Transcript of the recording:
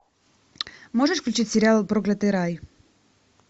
можешь включить сериал проклятый рай